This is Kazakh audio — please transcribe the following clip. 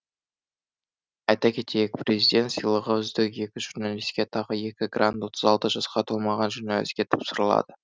айта кетейік президент сыйлығы үздік екі журналистке тағы екі грант отыз алты жасқа толмаған журналистке тапсырылады